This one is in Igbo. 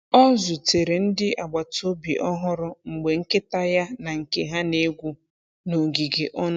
Ọ zutere ndị agbata obi ọhụrụ mgbe nkịta ya na nke ha na-egwu n’ogige ọnụ.